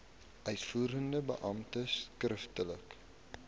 uitvoerende beampte skriftelik